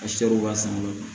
A sɛw b'a san dɔrɔn